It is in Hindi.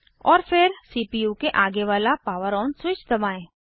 और फिर सीपीयू के आगे वाला पावर ऑन स्विच दबाएं